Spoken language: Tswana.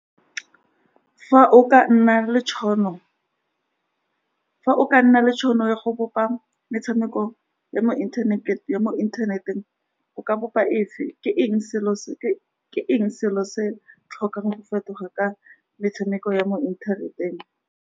Fa o ka nna le tšhono, fa o ka nna le tšhono ya go bopa metshameko ya mo ya mo internet-eng, o ka bopa efe, ke eng selo se, ke eng selo se se tlhokang go fetoga ka metshameko ya mo inthaneteng.